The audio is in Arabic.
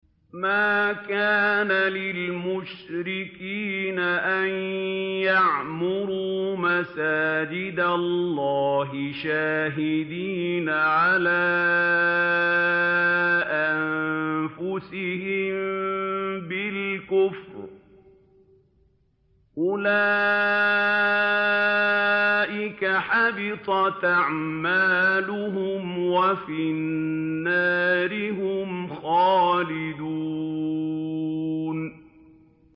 مَا كَانَ لِلْمُشْرِكِينَ أَن يَعْمُرُوا مَسَاجِدَ اللَّهِ شَاهِدِينَ عَلَىٰ أَنفُسِهِم بِالْكُفْرِ ۚ أُولَٰئِكَ حَبِطَتْ أَعْمَالُهُمْ وَفِي النَّارِ هُمْ خَالِدُونَ